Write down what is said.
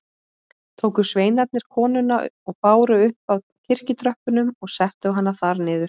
Tóku sveinarnir konuna og báru upp að kirkjutröppunum og settu hana þar niður.